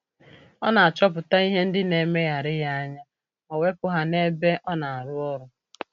Ọ na-achọpụta ihe ndị na-emegharị ya anya ma wepụ ha n'ebe ọ na-arụ ọrụ